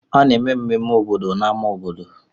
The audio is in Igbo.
A na-eme mmemme obodo n'ámá obodo.